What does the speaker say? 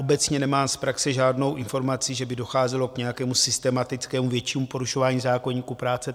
Obecně nemám z praxe žádnou informaci, že by docházelo k nějakému systematickému většímu porušování zákoníku práce.